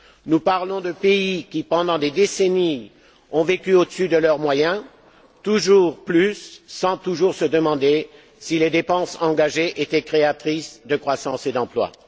Nous parlons de pays qui, pendant des décennies, ont vécu au dessus de leurs moyens, toujours plus, sans toujours se demander si les dépenses engagées étaient créatrices de croissance et d'emplois.